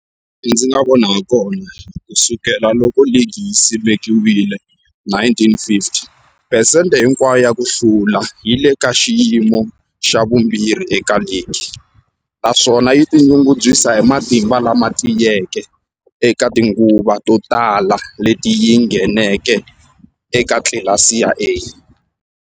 Hilaha ndzi nga vona hakona, ku sukela loko ligi yi simekiwile, 1950, phesente hinkwayo ya ku hlula yi le ka xiyimo xa vumbirhi eka ligi, naswona yi tinyungubyisa hi matimba lama tiyeke eka tinguva to tala leti yi ngheneke eka tlilasi ya A.